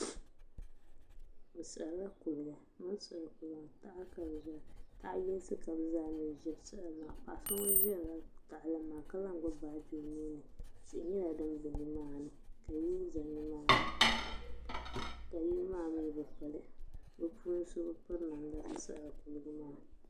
Bi siɣirila kuliga taha ka bi ʒira taha yinsi ka bi zaa mii ʒira paɣa so ŋun ʒirila tahali maa ka lahi gbubi baaji o nuuni tihi nyɛla din gili nimaani ka yili ʒɛ nimaani ka yili maa mii bi piri bi puuni so piri namda piɛla ka di yina ŋɔ